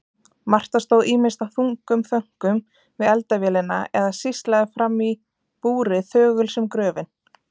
Marta stóð ýmist í þungum þönkum við eldavélina eða sýslaði framí búri þögul sem gröfin.